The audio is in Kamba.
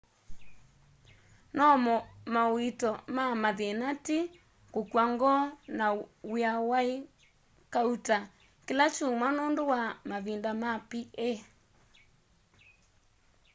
no mauito ma mathina ti kukw'a ngoo na wia waí kauta kila kyumwa nundu wa mavinda ma pa